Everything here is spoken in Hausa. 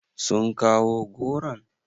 Sun kawo goron?